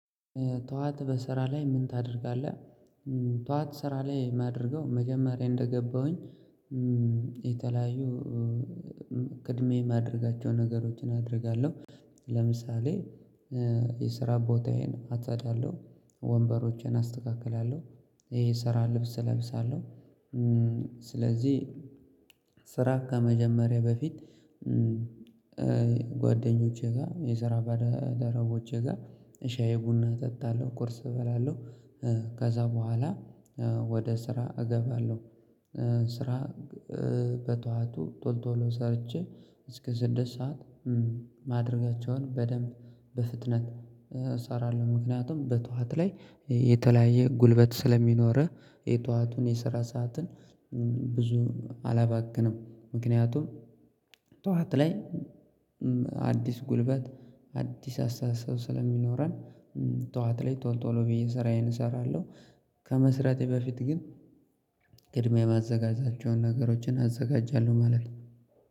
ጠዋት በስራ ላይ ምን ታደርጋለህ? ጠዋት ስራ ላይ የማደርገው መጀመሪያ እንደገባሁኝ የተለያዩ ቀድሜ የማደርጋቸው ነገሮችን አደርጋለሁ። ለምሳሌ የስራ ቦታዬን አጻዳለሁ ወንበሮችን አስተካክላለሁ። ይሄ የስራ ልብስ እለብሳለሁ። ስለዚህ ስራ ከመጀመሬ በፊት ጓደኞቼ ጋር የስራ ባልደረቦቼ ጋር ሻይ ቡና እጠጣለሁ ቁርስ እበላለሁ። ከዛ በኋላ ወደ ስራ እገባለሁ። ስራ በጠዎቱ ቶል ቶሎ ሰርቼ እስከ ስድስት ሰዓት ማድረጋቸውን በደንብ በፍጥነት እሰራለሁ። ምክንያቱም በጠዋት ላይ የተለያየ ጉልበት ስለሚኖርህ የጧቱን የሰራ ሰዓትን ብዙም አላባክንም። ምክንያቱም ጧት ላይ አዲስ ጉልበት አዲስ አስተሳሰብ ስለሚኖረን። ጠዋት ላይ ቶሎ ቶሎ ብዬ ስራዬን እሰራለሁ። ከመስራቴ በፊት ግን ቅድሚያ የማዘጋጃቸውን ነገሮችን አዘጋጃለሁ ማለት ነው